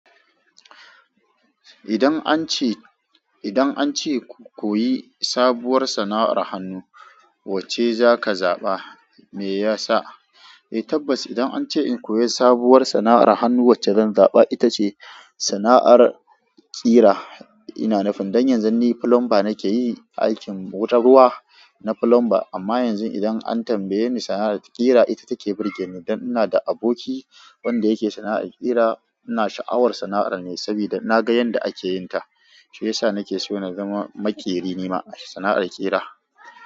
Idan an ce, idan an ce ku koyi sabuwar sana'ar hannu, wacce za ka zaɓa? Me yasa? Eh tabbas idan an ce in koyi sabuwar sana'ar hannu wacce zan zaɓa ita ce sana'ar ƙira. Ina nufin dan yanzu ni plumber nake yi aikin wutar ruwa na plumber. Amma yanzu idan an tambaye ni sana'ar ƙira ita take burge ni dan ina da aboki wanda yake sana'ar ƙira. Ina sha'awar sana'ar ne sabida na ga yanda ake yin ta. Shi yasa nake so na zama maƙeri nima a sana'ar ƙira.